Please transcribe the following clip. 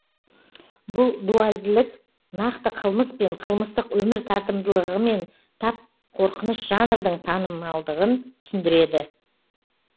бұл дуальділік нақты қылмыс пен қылмыстық өмір тартымдылығымен тап қорқыныш жанрдың танымалдығын түсіндіреді